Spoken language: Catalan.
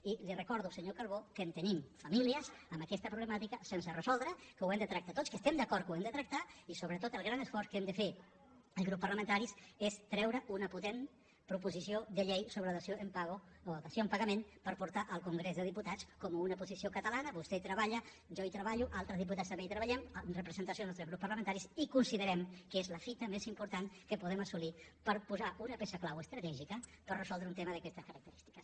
i li recordo senyor calbó que tenim famílies amb aquesta problemàtica sense resoldre que ho hem de tractar tots que estem d’acord que ho hem de tractar i sobretot el gran esforç que hem de fer els grups parlamentaris és treure una potent proposició de llei sobre la dació en pagament per portar al congrés de diputats com una posició catalana vostè hi treballa jo hi treballo altres diputats també hi treballem en representació dels nostres grups parlamentaris i considerem que és la fita més important que podem assolir per posar una peça clau estratègica per resoldre un tema d’aquestes característiques